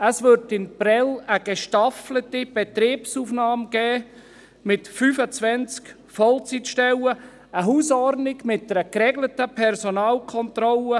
In Prêles gäbe es eine gestaffelte Betriebsaufnahme, mit 25 Vollzeitstellen und einer Hausordnung mit einer geregelten Personalkontrolle.